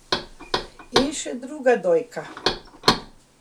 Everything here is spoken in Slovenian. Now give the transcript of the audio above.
In še druga dojka.